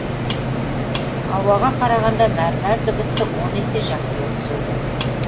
ауаға қарағанда мәрмәр дыбысты он есе жақсы өткізеді